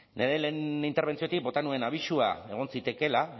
nire lehen interbentziotik bota nuen abisua egon zitekeela